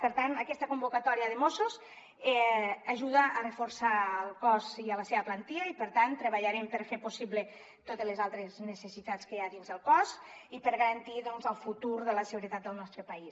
per tant aquesta convocatòria de mossos ajuda a reforçar el cos i la seva plantilla i per tant treballarem per fer possible totes les altres necessitats que hi ha dins el cos i per garantir el futur de la seguretat del nostre país